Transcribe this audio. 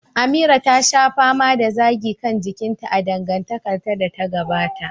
Amira ta sha fama da zagi kan jikinta a dangantakarta da ta gabata.